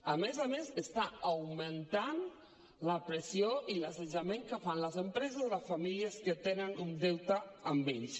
a més a més està augmentant la pressió i l’assetjament que fan les empreses a les famílies que tenen un deute amb ells